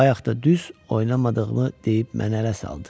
Bayaq da düz oynamadığımı deyib məni ələ saldı.